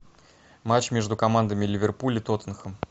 матч между командами ливерпуль и тоттенхэм